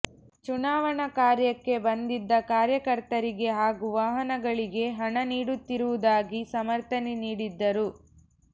ಚುನಾವಣಾ ಕಾರ್ಯಕ್ಕೆ ಬಂದಿದ್ದ ಕಾರ್ಯಕರ್ತರಿಗೆ ಹಾಗೂ ವಾಹನಗಳಿಗೆ ಹಣ ನೀಡುತ್ತಿರುವುದಾಗಿ ಸಮರ್ಥನೆ ನೀಡಿದ್ದರು